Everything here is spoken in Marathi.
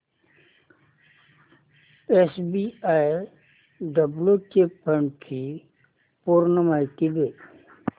एसबीआय ब्ल्यु चिप फंड ची पूर्ण माहिती दे